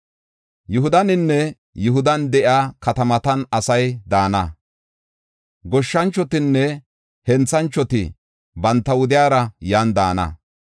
Yihudaninne Yihudan de7iya katamatan asay daana; goshshanchotinne henthanchoti banta wudiyara yan daana.